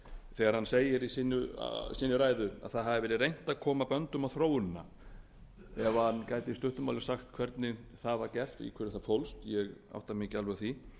þegar hann segir í sinni ræðu að reynt hafi verið að koma böndum á þróunina ef hann gæti í stuttu máli sagt hvernig það var gert í hverju það fólst ég átta mig ekki alveg á því